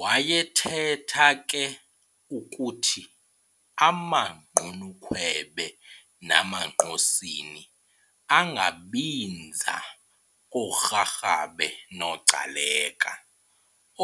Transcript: Wayethetha ke ukuthi amaGqunukhwebe namaNgqosini angabinza kooRharhabe noGcaleka,